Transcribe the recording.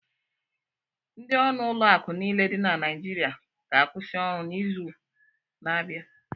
Ndị ọrụ ụlọakụ niile dị na Naịjirịa ga-akwụsị ọrụ n'izu n'abịa.